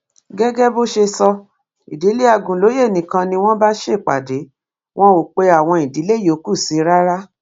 gẹgẹ bó ṣe sọ ìdílé àgúnlóye nìkan ni wọn bá ṣèpàdé wọn ò pe àwọn ìdílé yòókù sí i rárá